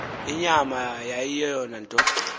inyama yayiyeyona nto